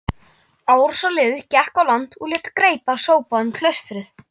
Árásarliðið gekk á land og lét greipar sópa um klaustrið.